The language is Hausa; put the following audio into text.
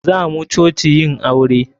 Zamu coci yin aure.